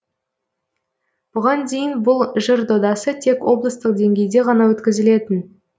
бұған дейін бұл жыр додасы тек облыстық деңгейде ғана өткізілетін